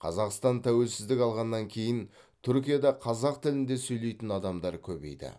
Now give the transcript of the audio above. қазақстан тәуелсіздік алғаннан кейін түркияда қазақ тілінде сөйлейтін адамдар көбейді